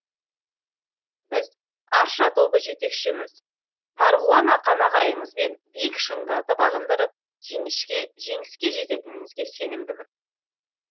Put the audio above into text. біз арша тобы жетекшіміз марғұлан ақан ағайымызбен биік шыңдарды бағындырып жеңіске жететінімізге сенімдімін